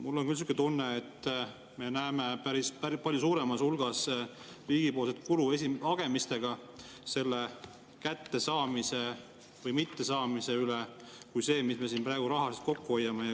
Mul on küll selline tunne, et me näeme palju suuremas hulgas riigipoolset kulu hagemistega selle kättesaamise või mittesaamise üle, kui on see, mis me siin praegu rahaliselt kokku hoiame.